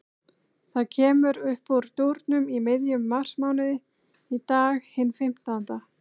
Það kemur uppúr dúrnum í miðjum marsmánuði, í dag, hinn fimmtánda.